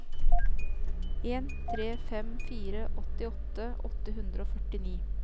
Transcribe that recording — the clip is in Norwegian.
en tre fem fire åttiåtte åtte hundre og førtini